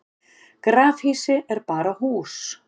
grafhýsi er bara hús